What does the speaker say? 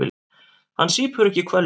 Hann sýpur ekki hveljur.